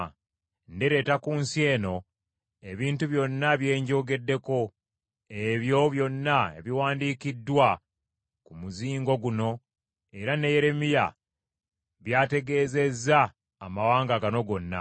“Ndireeta ku nsi eno ebintu byonna bye njogeddeko, ebyo byonna ebiwandiikiddwa ku muzingo guno era ne Yeremiya byategeezezza amawanga gano gonna.